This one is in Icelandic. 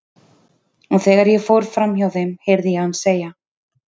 Og þegar ég fór fram hjá þeim heyri ég hann segja